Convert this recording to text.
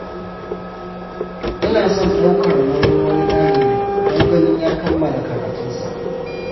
Ina son ɗaukar nauyin wani ɗalibi don ganin ya kammala karatunsa.